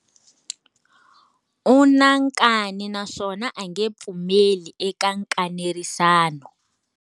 U na nkani naswona a nge pfumeli eka nkanerisano.